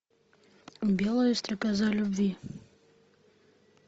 белая стрекоза любви